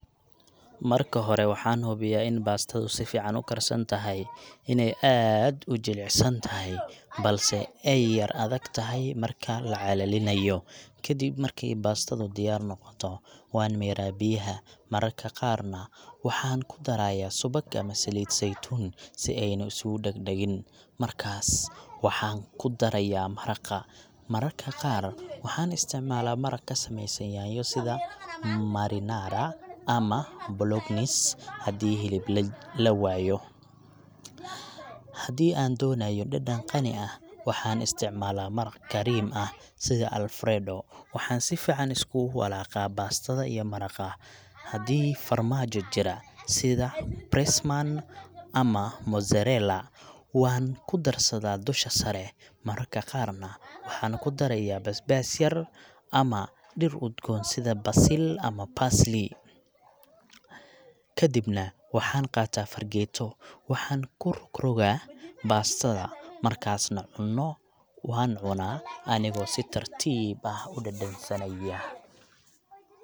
Marka xoree waxan xubiya in pastada si fiican ukarsantaxaay, inay aad ujilicsataxay balse ay yar adegtaxay marka lacalalinayo, kadib marki pastadu diyar mogoto, wan miraa biyaxa, mar marka qaarnax, waxan kudaraya subaq ama saliit zeitun sii ayna iskuladaqdaqiin, markas waxan kudaraya maragaa, mar marka qaaarnah waxan isticmala, marag kasameysan nyanyo iyo sida marinara ama blocknice, xadii xilib lawayoo, xadii an donayo dadan qaani ah, waxan isticmala maraq kariim ah, sidha Alfredo waxaan si fican iskulawalaga pastada iyo maraqaa, xadhi farmajo jiraa sidaa press man ama mozzarella wan kudarsada dusha saree, mararka qaarnah, waxan kudaraya basbas yar, ama diir udgoon si u cuntada basil ama baslii, kadibna waxan qataa fargeto waxaan kurogroga pastada markas nah, cunoo wa cunaa anigo si tartib ah udandasanayah.